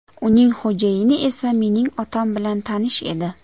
Uning xo‘jayini esa mening otam bilan tanish edi.